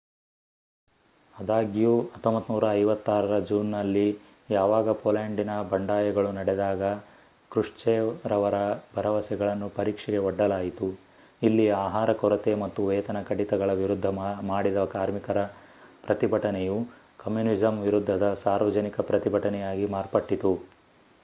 ಅದಾಗ್ಯೂ 1956ರ ಜೂನ್ ನಲ್ಲಿ ಯಾವಾಗ ಪೋಲ್ಯಾಂಡಿನ ಬಂಡಾಯಗಳು ನಡೆದಾಗ ಕೃಶ್ಚೇವ್'ರವರ ಭರವಸೆಗಳನ್ನು ಪರೀಕ್ಷೆಗೆ ಒಡ್ಡಲಾಯಿತು ಇಲ್ಲಿ ಆಹಾರ ಕೊರತೆ ಮತ್ತು ವೇತನ ಕಡಿತಗಳ ವಿರುದ್ಧ ಮಾಡಿದ ಕಾರ್ಮಿಕರ ಪ್ರತಿಭಟನೆಯು ಕಮ್ಯೂನಿಸಂ ವಿರುದ್ಧದ ಸಾರ್ವಜನಿಕ ಪ್ರತಿಭಟನೆಯಾಗಿ ಮಾರ್ಪಟ್ಟಿತು